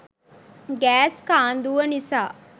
gas කාන්දුව නිසා